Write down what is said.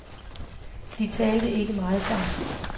De talte ikke meget sammen.